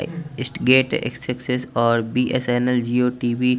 gate successes और B _S _N _L Jio TV --